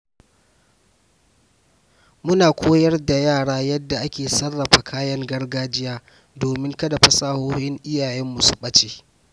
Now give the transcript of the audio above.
Muna koyar da yara yadda ake sarrafa kayan gargajiya domin kada fasahohin iyayenmu su ɓace.